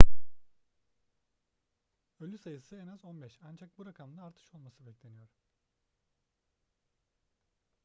ölü sayısı en az 15 ancak bu rakamda artış olması bekleniyor